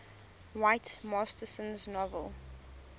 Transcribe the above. whit masterson's novel